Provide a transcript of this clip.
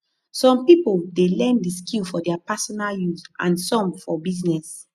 some pipo de learn di skill for their personal use and some for business